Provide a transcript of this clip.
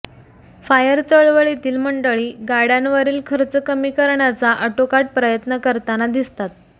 fire चळवळीतील मंडळी गाड्यांवरील खर्च कमी करण्याचा आटोकाट प्रयत्न करताना दिसतात